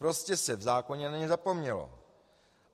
Prostě se v zákoně na ně zapomnělo.